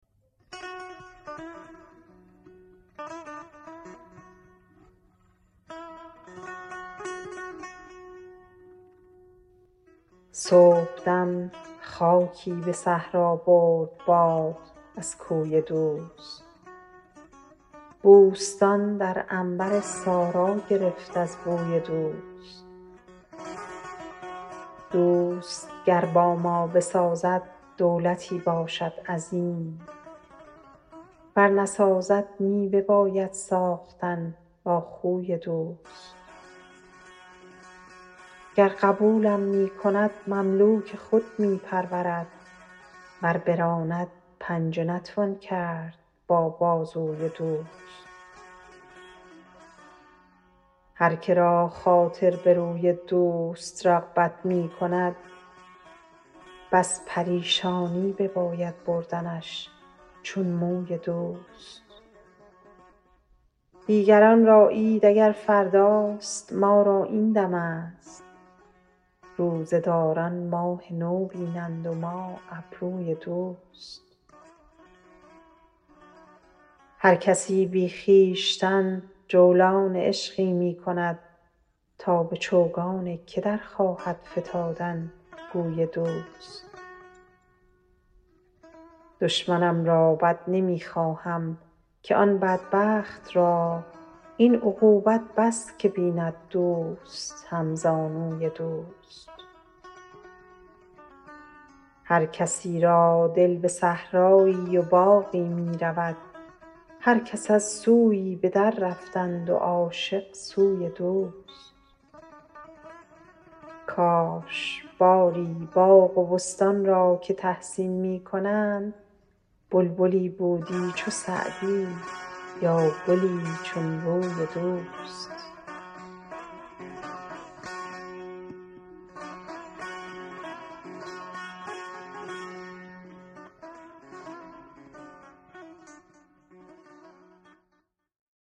صبحدم خاکی به صحرا برد باد از کوی دوست بوستان در عنبر سارا گرفت از بوی دوست دوست گر با ما بسازد دولتی باشد عظیم ور نسازد می بباید ساختن با خوی دوست گر قبولم می کند مملوک خود می پرورد ور براند پنجه نتوان کرد با بازوی دوست هر که را خاطر به روی دوست رغبت می کند بس پریشانی بباید بردنش چون موی دوست دیگران را عید اگر فرداست ما را این دمست روزه داران ماه نو بینند و ما ابروی دوست هر کسی بی خویشتن جولان عشقی می کند تا به چوگان که در خواهد فتادن گوی دوست دشمنم را بد نمی خواهم که آن بدبخت را این عقوبت بس که بیند دوست همزانوی دوست هر کسی را دل به صحرایی و باغی می رود هر کس از سویی به دررفتند و عاشق سوی دوست کاش باری باغ و بستان را که تحسین می کنند بلبلی بودی چو سعدی یا گلی چون روی دوست